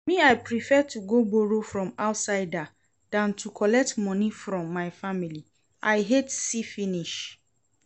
Me I prefer to go borrow from outsider dan to collect money from my family, I hate see finish